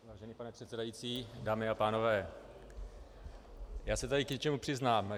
Vážený pane předsedající, dámy a pánové, já se tady k něčemu přiznám.